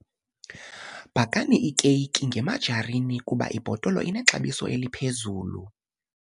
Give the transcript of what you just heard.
Bhakani iikeyiki ngemajarini kuba ibhotolo inexabiso eliphezulu.